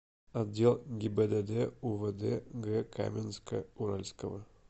отдел гибдд увд г каменска уральского